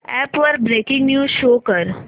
app वर breaking news show कर